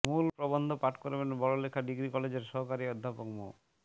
মূল প্রবন্ধ পাঠ করবেন বড়লেখা ডিগ্রি কলেজের সহকারী অধ্যাপক মো